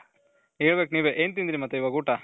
ಹೇಳ್ಬೇಕು ನೀವೇ ಏನ್ ತಿಂದ್ರಿ ಮತ್ತೆ ಇವಾಗ ಊಟ